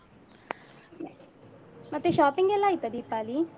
ಮತ್ತೆ shopping ಎಲ್ಲಾ ಆಯ್ತಾ ದೀಪಾಲಿ?